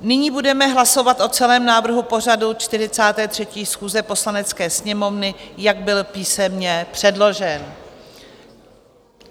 Nyní budeme hlasovat o celém návrhu pořadu 43. schůze Poslanecké sněmovny, jak byl písemně předložen.